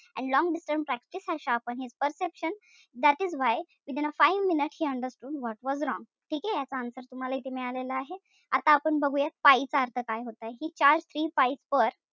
And long practice had sharpened his perception that is why within a five minutes he understood what was wrong ठीके? याच answer तुम्हाला इथे मिळालेलं आहे. आता आपण बघूया चा अर्थ काय होतय. He charged three per,